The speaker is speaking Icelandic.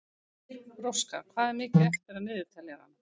Róska, hvað er mikið eftir af niðurteljaranum?